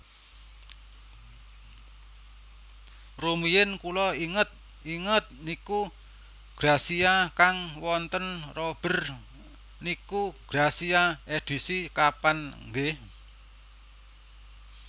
Rumiyin kula inget inget niku Grazia kang wonten Robert niku Grazia edisi kapan nggeh